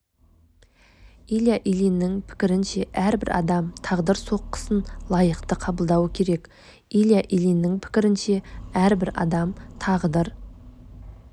илья ильиннің пікірінше әрбір адам тағдыр соққысын лайықты қабылдауы керек илья ильиннің пікірінше әрбір адам тағдыр